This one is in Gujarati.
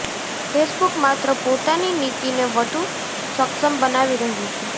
ફેસબૂક માત્ર પોતાની નીતિને વધુ સક્ષમ બનાવી રહ્યું છે